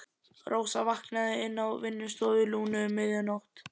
Rósa vaknaði inni á vinnustofu Lúnu um miðja nótt.